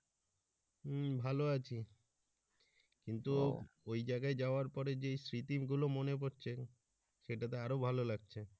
হম ভালো আছি কিন্তু ওই জায়গায় যাওয়ার পরে যে স্মৃতিগুলো মনে পড়ছে সেটা তো আরো ভালো লাগছে।